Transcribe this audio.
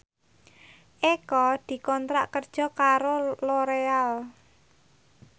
Eko dikontrak kerja karo Loreal